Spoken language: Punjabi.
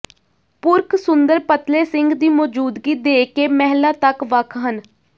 ਪੁਰਖ ਸੁੰਦਰ ਪਤਲੇ ਸਿੰਗ ਦੀ ਮੌਜੂਦਗੀ ਦੇ ਕੇ ਮਹਿਲਾ ਤੱਕ ਵੱਖ ਹਨ